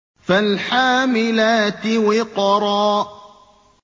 فَالْحَامِلَاتِ وِقْرًا